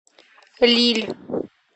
лилль